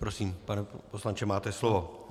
Prosím, pane poslanče, máte slovo.